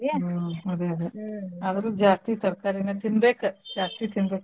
ಹ್ಮ್ ಅದ ಅದ ಆದ್ರೂ ಜಾಸ್ತಿ ತರ್ಕಾರೀನ ತಿನ್ಬೇಕು ಜಾಸ್ತಿ ತಿನ್ಬೇಕ .